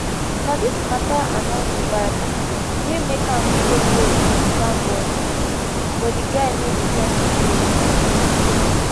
na dis matter annoy mohbad wey make am throw blows on primeboy but di guy no return di blows